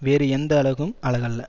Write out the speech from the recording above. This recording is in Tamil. வேறு எந்த அழகும் அழகல்ல